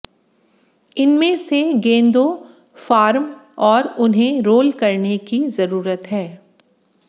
इनमें से गेंदों फार्म और उन्हें रोल करने की जरूरत है